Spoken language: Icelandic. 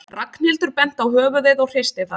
Ragnhildur benti á höfuðið og hristi það.